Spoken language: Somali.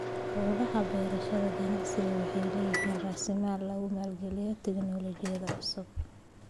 Hawlaha beerashada ganacsigu waxay leeyihiin raasamaal lagu maalgeliyo tignoolajiyada cusub.